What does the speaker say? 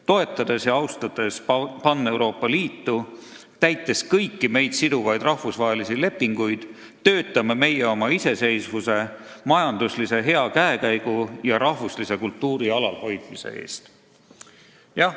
Toetades ja austades Paneuroopa Liitu, täites kõiki meid siduvaid rahvusvahelisi lepinguid, töötame meie oma iseseisvuse, majanduslise hea käekäigu ja rahvuslise kultuuri alalhoidmise eest.